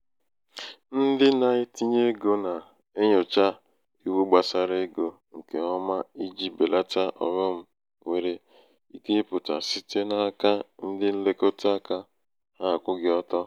ndị na-etinye egō nà-enyòcha iwu gbàsara egō ṅkè ọma ijī bèlata ọ̀ghọm nwere ike ịpụ̀tà site n’aka ndị nlekọta aka ha akwụghị ọtọ.